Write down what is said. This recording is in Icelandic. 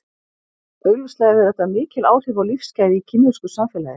Augljóslega hefur þetta mikil áhrif á lífsgæði í kínversku samfélagi.